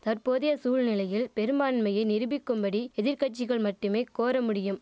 தற்போதைய சூழ்நிலையில் பெரும்பான்மையை நிருபிக்கும்படி எதிர்கட்சிகள் மட்டுமே கோர முடியும்